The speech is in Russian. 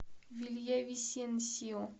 вильявисенсио